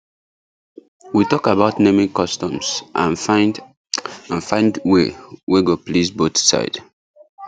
we talk about naming customs and find and find way wey go please both side